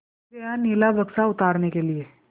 चढ़ गया नीला बक्सा उतारने के लिए